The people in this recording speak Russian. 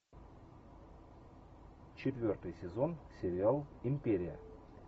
четвертый сезон сериал империя